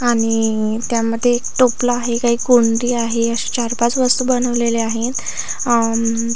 आणि त्यामध्ये एक टोपल आहे काही कोंडी आहे अशी चार पाच वस्तू बनवलेल्या आहेत अ--